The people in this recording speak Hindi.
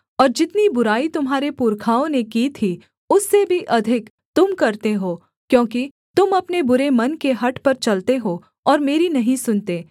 और जितनी बुराई तुम्हारे पुरखाओं ने की थी उससे भी अधिक तुम करते हो क्योंकि तुम अपने बुरे मन के हठ पर चलते हो और मेरी नहीं सुनते